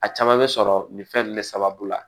A caman bɛ sɔrɔ nin fɛn ninnu de sababu la